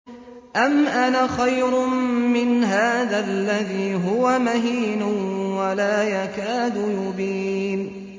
أَمْ أَنَا خَيْرٌ مِّنْ هَٰذَا الَّذِي هُوَ مَهِينٌ وَلَا يَكَادُ يُبِينُ